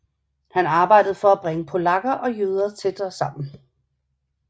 Han arbejdede for at bringe polakker og jøder tættere sammen